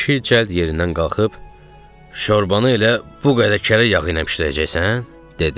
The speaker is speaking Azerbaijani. Kişi cəld yerindən qalxıb "şorbanı elə bu qədər kərə yağına bişirəcəksən?" dedi.